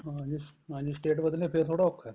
ਹਾਂਜੀ ਜੇ state ਬਦਲਣੀ ਆ ਫ਼ੇਰ ਥੋੜਾ ਔਖਾ